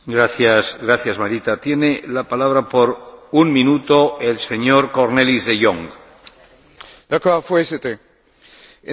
Voorzitter, in Nederland zijn er heel weinig mensen die vermoeden dat hier in Brussel discussies gevoerd worden over hun lonen en pensioenen.